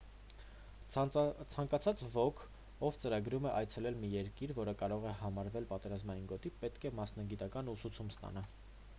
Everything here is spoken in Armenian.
ցանկացած ոք ով ծրագրում է այցելել մի երկիր որը կարող է համարվել պատերազմական գոտի պետք է մասնագիտական ուսուցում ստանա